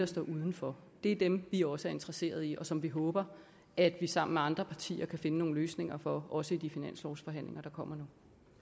står uden for det er dem vi også interesserede i og som vi håber at vi sammen med andre partier kan finde nogle løsninger for også i de finanslovsforhandlinger der kommer